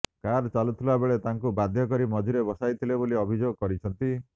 car ଚାଲୁଥିବାବେଳେ ତାଙ୍କୁ ବାଧ୍ୟ କରି ମଝିରେ ବସାଇଥିଲେ ବୋଲି ଅଭିଯୋଗ କରିଛନ୍ତି